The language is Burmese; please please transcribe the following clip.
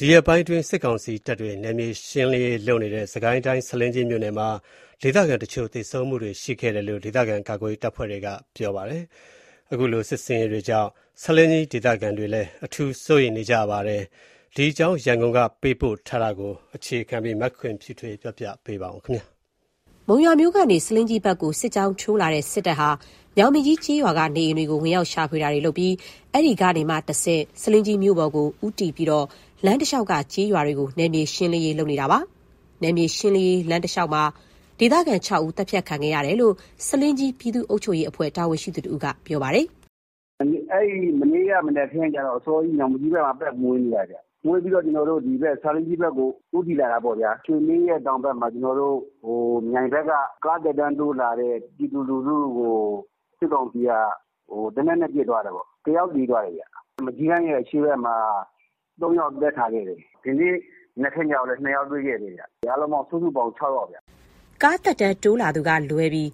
ဒီရက်ပိုင်းအတွင်း စစ်ကောင်စီတပ်တွေ နယ်မြေရှင်းလင်းရေး လုပ်နေတဲ့ စစ်ကိုင်းတိုင်း ဆားလင်းကြီးမြို့နယ်မှာ ဒေသခံတချို့ သေဆုံးမှုတွေ ရှိခဲ့တယ်လို့ ဒေသခံကာကွယ်ရေး တပ်ဖွဲ့က ပြောပါတယ်။ စစ်တပ်ရဲ့ လှုပ်ရှားမှုတွေကြောင့် ဒေသခံတွေလည်း စိုးရိမ်နေကြရတာပါ။ ရန်ကုန်က သတင်းပေးပို့ထားတာကို အခြေခံပြီး မခင်ဖြူထွေး ပြောပြပေးပါမယ်။ မုံရွာမြို့ကနေ ဆားလင်းကြီးဘက်ကို စစ်ကြောင်းထိုးလာတဲ့ စစ်တပ်ဟာ ညောင်ပင်ကြီး ကျေးရွာက နေအိမ်တွေကို ဝင်ရောက်ရှာဖွေတာတွေ လုပ်ပြီး အဲ့ဒီကနေမှ တဆင့် ဆားလင်းကြီးမြို့ပေါ်ကို ဦးတည်ပြီးတော့ လမ်းတလျှောက်က ကျေးရွာတွေကို နယ်မြေရှင်းလင်းရေးလုပ်နေတာပါ။ နယ်မြေရှင်းလင်းရာ လမ်းတလျှောက်မှာ ဒေသခံ ၆ ဦး သတ်ဖြတ်ခံခဲ့ရတယ်လို့လည်း ဆားလင်းကြီး ပြည်သူ့အုပ်ချုပ်ရေးအဖွဲ့ တာဝန်ရှိသူ တဦးက ပြောပါတယ်။ “မနေ့က မနက်အစောကြီး ညောင်ပင်ကြီးဘက်မှာ ပတ်မွှေနေတာခင်ဗျ။ မွှေပြီး ဆားလင်းကြီးဘက်ကို ဦးတည်လာတာပေါ့။ ရွှေလှေ ရဲ့ တောင်ဘက်မှာ မြိုင်ဘက်က ကားသက်တမ်းတိုးလာတဲ့ ပြည်သူလူထုကို စစ်ကောင်စီက သေနတ်နဲ့ ပစ်သွားတယ်ပေါ့။ တယောက်သေသွားတယ်ခင်ဗျ။ မကျည်းတန်း ရဲ့ အရှေ့ဘက်ကမှာ ၃ ယောက် သတ်ထားခဲ့တယ်။ ဒီနေ့ မနက်ခင်းကြတော့လည်း ၂ယောက်တွေ့ခဲ့တယ်။ အားလုံး စုစုပေါင်း ၆ ယောက်ခင်ဗျ။” ကားသက်တမ်းတိုးလာသူကလွဲပြီး